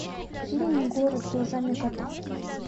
фильм город глазами кота